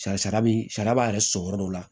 Sari sari bi sari b'a yɛrɛ sɔrɔ yɔrɔ dɔ la